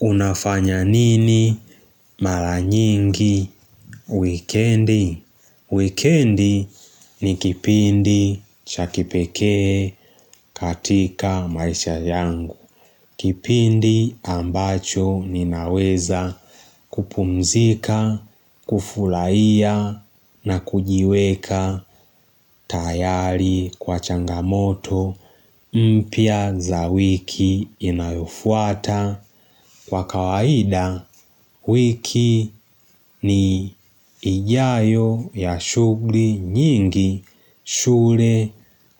Unafanya nini mara nyingi wikendi? Weekendi ni kipindi cha kipekee katika maisha yangu. Kipindi ambacho ninaweza kupumzika, kufurahia na kujiweka tayari kwa changamoto mpya za wiki inayofuata. Kwa kawaida, wiki ni ijayo ya shughli nyingi, shule,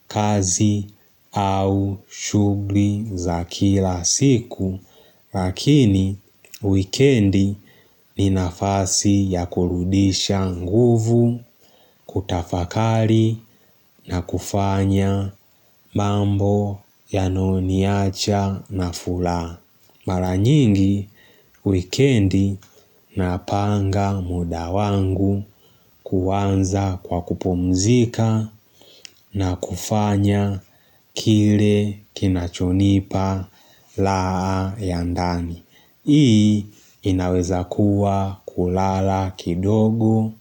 kazi au shughuli za kila siku, lakini, wikendi ni nafasi ya kurudisha nguvu, kutafakari na kufanya mambo yanayoniacha na furaha. Mara nyingi, wikendi napanga muda wangu kuanza kwa kupumzika na kufanya kile kinachonipa raha ya ndani. Hii inaweza kuwa kulala kidogo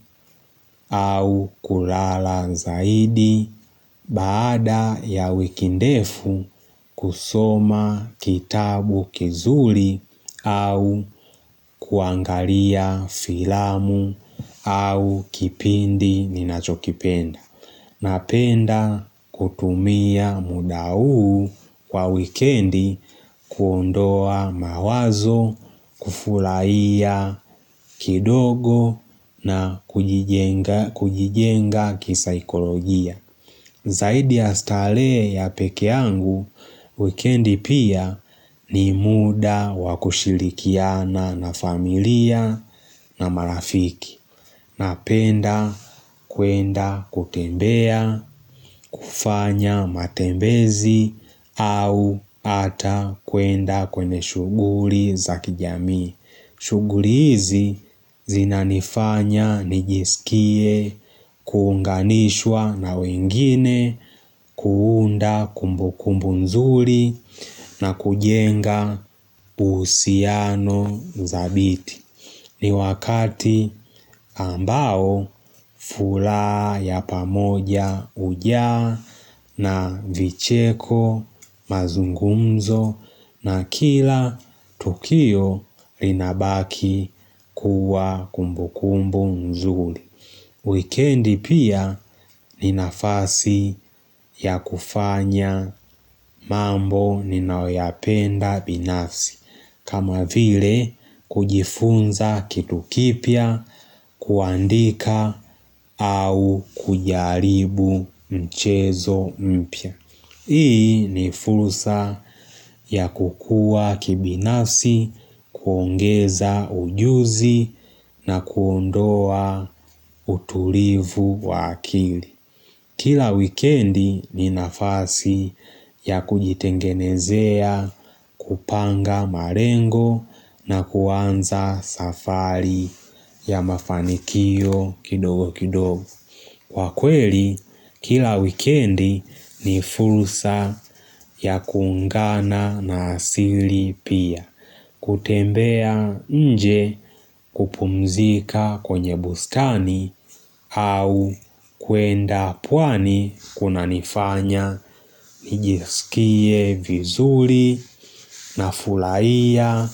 au kulala zaidi baada ya wikindefu kusoma kitabu kizuri au kuangalia filamu au kipindi ninachokipenda. Napenda kutumia muda huu kwa wikendi kuondoa mawazo, kufurahia kidogo na kujijenga kisaikolojia. Zaidi ya starehe ya pekee yangu, wikendi pia ni muda wakushirikiana na familia na marafiki. Napenda kuenda kutembea, kufanya matembezi au hata kwenda kwenye shughuli za kijamii. Shughuli hizi zinanifanya, nijiskie, kuunganishwa na wengine, kuunda kumbukumbu nzuri na kujenga uhusiano thabiti. Ni wakati ambao furaha ya pamoja hujaa na vicheko mazungumzo na kila tukio linabaki kuwa kumbu kumbu mzuri. Weekendi pia ni nafasi ya kufanya mambo ninaoyapenda binafsi kama vile kujifunza kitu kipya kuandika au kujaribu mchezo mpya Hii ni fursa ya kukua kibinasi, kuongeza ujuzi na kuondoa utulivu wa kili. Kila wikendi ni nafasi ya kujitengenezea, kupanga malengo na kuanza safari ya mafanikio kidogo kidogo. Kwa kweli, kila wikendi ni fursa ya kuungana na asili pia. Kutembea nje kupumzika kwenye bustani au kuenda pwani kunanifanya nijiskie vizuri na furahia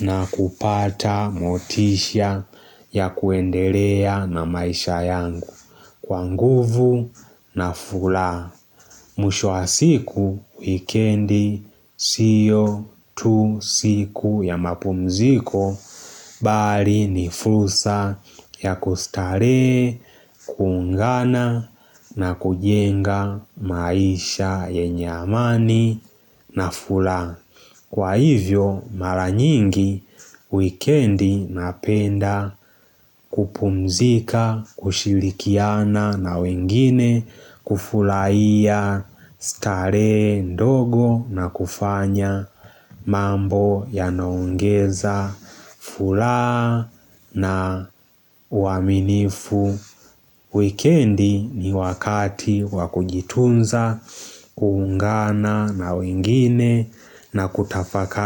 na kupata motisha ya kuendelea na maisha yangu. Kwa nguvu na furaha. Mwisho wa siku, wikendi, siyo tu siku ya mapumziko, bali ni fursa ya kustarehe, kuungana na kujenga maisha yenye amani na furaha. Kwa hivyo, maranyingi, wikendi napenda kupumzika, kushirikiana na wengine, kufurahia starehe ndogo na kufanya mambo yanaongeza furaha na uaminifu. Weekendi ni wakati wa kujitunza, kuungana na wengine na kutafakari.